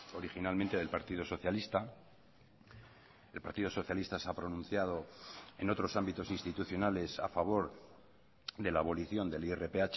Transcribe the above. originalmente del partido socialista el partido socialista se ha pronunciado en otros ámbitos institucionales a favor de la abolición del irph